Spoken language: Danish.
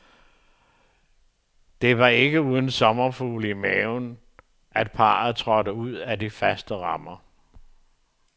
Det var ikke uden sommerfugle i maven, at parret trådte ud af de faste rammer.